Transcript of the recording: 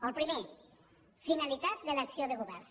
el primer finalitat de l’acció de govern